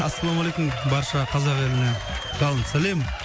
ассалаумағалейкум барша қазақ еліне жалынды сәлем